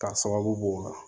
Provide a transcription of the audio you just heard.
K'a sababu kɛ